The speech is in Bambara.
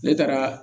Ne taara